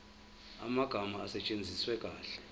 amagama asetshenziswe kahle